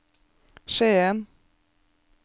Skien